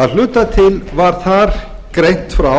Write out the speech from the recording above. að hluta til var þar greint frá